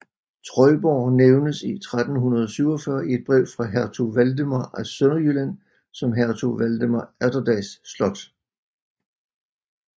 Trøjborg nævnes i 1347 i et brev fra hertug Valdemar af Sønderjylland som hertug Valdemar Atterdags slot